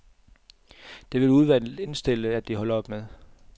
Det vil udvalget indstille, at de holder op med.